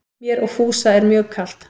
Mér og Fúsa mjög er kalt